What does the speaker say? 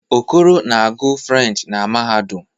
Okoro na-agu French na mahadum